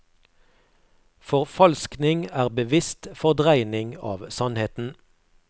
Forfalskning er bevisst fordreining av sannheten.